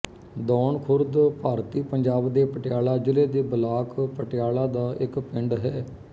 ਦੌਣ ਖੁਰਦ ਭਾਰਤੀ ਪੰਜਾਬ ਦੇ ਪਟਿਆਲਾ ਜ਼ਿਲ੍ਹੇ ਦੇ ਬਲਾਕ ਪਟਿਆਲਾ ਦਾ ਇੱਕ ਪਿੰਡ ਹੈ